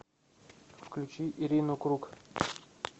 включи ирину круг